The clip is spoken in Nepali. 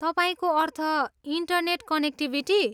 तपाईँको अर्थ, इन्टरनेट कनेक्टिभिटी?